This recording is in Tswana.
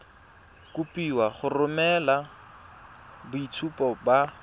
kopiwa go romela boitshupo ba